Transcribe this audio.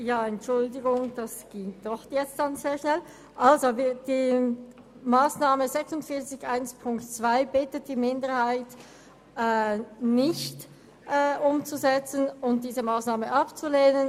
Die FiKo-Minderheit bittet darum, die Massnahme 46.1.2 nicht umzusetzen und sie abzulehnen.